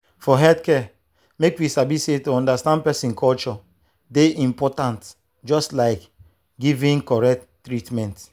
for healthcare make we sabi say to understand person culture dey important just like giving correct treatment.